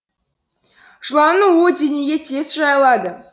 жыланның уы денеге тез жайылады